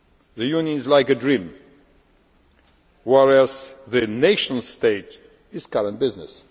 The Union is like a dream, whereas the nation state is current business.